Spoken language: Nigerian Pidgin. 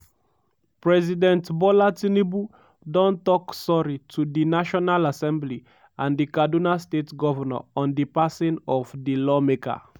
president bola tinubu don tok sorry to di national assembly and di kaduna state govnor on di passing of di lawmaker.